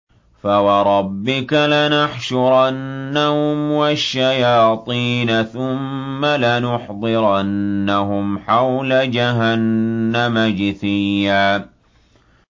فَوَرَبِّكَ لَنَحْشُرَنَّهُمْ وَالشَّيَاطِينَ ثُمَّ لَنُحْضِرَنَّهُمْ حَوْلَ جَهَنَّمَ جِثِيًّا